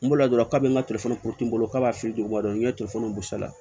N bolila dɔrɔn ka n ka n bolo k'a b'a feere wa n ye bɔ sa